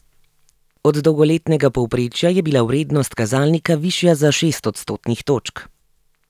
Od dolgoletnega povprečja je bila vrednost kazalnika višja za šest odstotnih točk.